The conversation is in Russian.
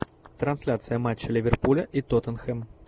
трансляция матча ливерпуля и тоттенхэм